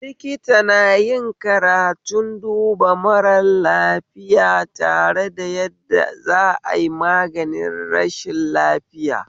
Likita nayin karatun duba mara lafiya da yadda za ai maganin rashin lafiya